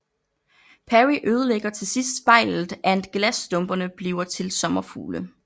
Perry ødelægger til sidst spejlet and glasstumperne bliver til sommerfugle